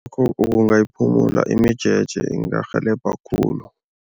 Kungayiphumula imijeje, kungarhelebha khulu.